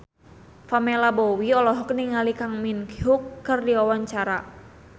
Pamela Bowie olohok ningali Kang Min Hyuk keur diwawancara